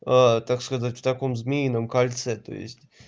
так сказать в таком змеином кольце то есть